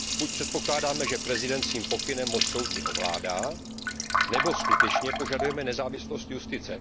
Buď předpokládáme, že prezident svým pokynem moc soudní ovládá, nebo skutečně požadujeme nezávislost justice.